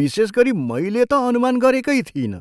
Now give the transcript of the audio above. विशेषगरी मैले त अनुमान गरेकै थिइनँ।